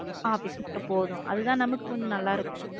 Office மட்டும் போதும். அது தான் நமக்கு கொஞ்சம் நல்லா இருக்கும்